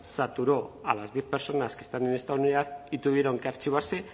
saturó a las diez personas que están en esta unidad y tuvieron que archivarse